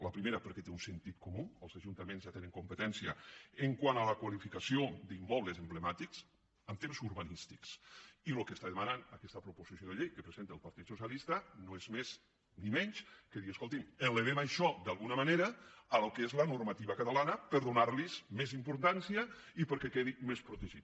la primera perquè té un sentit comú els ajuntaments ja tenen competència quant a la qualificació d’immobles emblemàtics en temes urbanístics i el que demana aquesta proposició de llei que presenta el partit socialista no és ni més ni menys que dir escoltin elevem això d’alguna manera al que és la normativa catalana per donar los més importància i perquè quedi més protegit